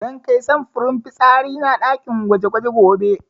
Zan kai samfurin fitsari na ɗakin gwaje-gwaje gobe.